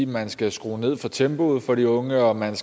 man skal skrue ned for tempoet for de unge og at man